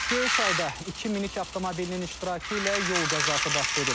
Göyçayda iki minik avtomobilinin iştirakı ilə yol qəzası baş verib.